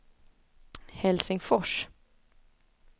Helsingfors